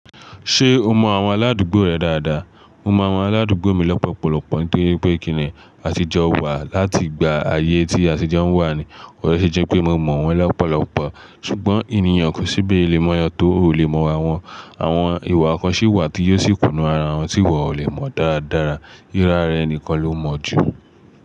Ṣé o mọ àwọn aládùúgbò rẹ dáadáa? Mo mọ àwọn aládùúgbò mi lọ́pọ̀lọ́pọ̀, nítorí pé kíni àtijọ́ wà láti ìgbà ayé tí àtijọ́ ń wà ni. Bó ṣe jé pé mo mọ̀ wọ́n lọ́pọ̀lọ́pọ̀, ṣùgbọ́n ènìyàn kò sí bí ó lè mò yàn tó ò lè mọ̀ wá wọn. Àwọn ìwà kan sì wà tí yóò sì kùnà ara wọn tí iwò ò lè mọ̀ dáradára. Írá re nikan ló mọ̀ jù.